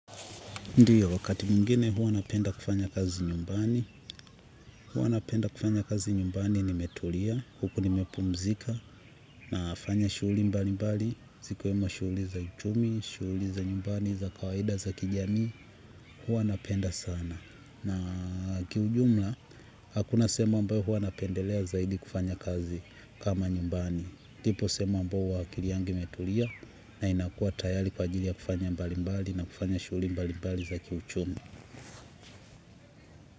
Ndiyo, wakati mwngine huwa napenda kufanya kazi nyumbani, huwa napenda kufanya kazi nyumbani nimetulia, huku nimepumzika, nafanya shughuli mbalimbali, zikiwemo shughuli za uchumi, shughuli za nyumbani, za kawaida za kijamii, huwa napenda sana. Na kiujumla, hakuna sehemu ambayo huwa napendelea zaidi kufanya kazi kama nyumbani. Ipo sehemu ambayo akili yangi imetulia, na inakua tayari kwa ajili ya kufanya mbalimbali na kufanya shughuli mbalimbali za kiuchumi.